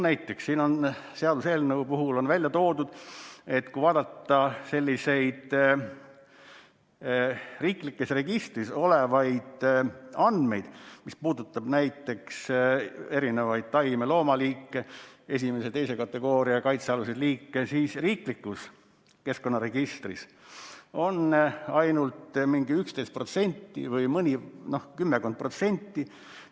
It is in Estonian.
Näiteks on seaduseelnõu puhul välja toodud, et kui vaadata selliseid riiklikes registrites olevaid andmeid, mis puudutavaid erinevaid taime- ja loomaliike, esimese ja teise kategooria kaitsealuseid liike, siis riiklikus keskkonnaregistris on olemas ainult mingi kümmekond protsenti.